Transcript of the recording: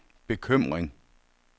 bekymring